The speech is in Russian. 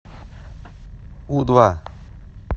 у два